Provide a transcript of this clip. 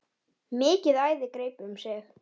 Mikið æði greip um sig.